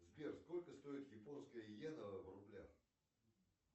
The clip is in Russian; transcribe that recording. сбер сколько стоит японская йена в рублях